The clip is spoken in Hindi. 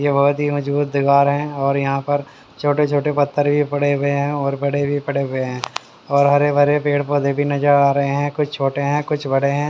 ये बहुत ही मजबूत दीवार है और यहाँ पर छोटे छोटे पत्थर भी पड़े हुए हैं और बड़े भी पड़े हुए हैं और हरे भरे पेड़ पौधे भी नजर आ रहे हैं कुछ छोटे हैं कुछ बड़े हैं।